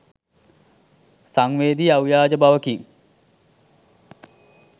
සන්වේදි අව්‍යාජ බවකින්